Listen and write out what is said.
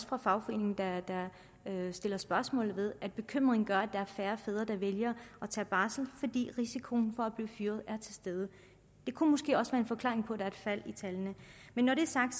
fra fagforeningen der stiller spørgsmål ved bekymringen gør at der er færre fædre der vælger at tage barsel fordi risikoen for at blive fyret er til stede det kunne måske også være en forklaring på der et fald i tallene men når det er sagt